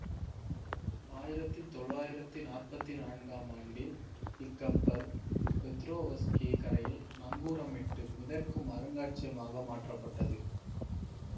ஆயிரத்தி தொளாயிரத்தி நாற்பத்தி நான்கு ஆம் ஆண்டில் இக்கப்பல் பெத்ரோவ்ஸ்க்கி கரையில் நங்கூரமிட்டு மிதக்கும் அருங்காட்சியகமாக மாற்றப்பட்டது